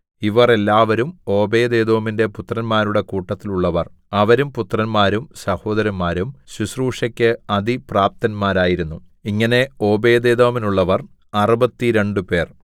ഇവർ എല്ലാവരും ഓബേദ്ഏദോമിന്റെ പുത്രന്മാരുടെ കൂട്ടത്തിലുള്ളവർ അവരും പുത്രന്മാരും സഹോദരന്മാരും ശുശ്രൂഷയ്ക്കു അതിപ്രാപ്തന്മാരായിരുന്നു ഇങ്ങനെ ഓബേദ്ഏദോമിനുള്ളവർ അറുപത്തിരണ്ടുപേർ